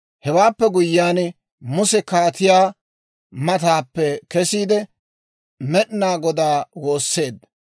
Hewaappe guyyiyaan Muse kaatiyaa mataappe kesiide, Med'inaa Godaa woosseedda.